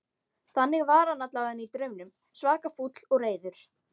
Þannig var hann allavega í draumnum, svaka fúll og reiður.